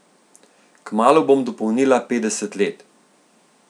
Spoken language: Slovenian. Kmalu bom dopolnila petdeset let.